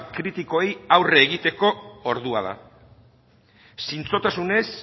kritikoei aurre egiteko ordua da zintzotasunez